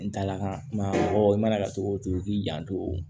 N taala ka kuma awɔ i mana kɛ cogo o cogo k'i janto o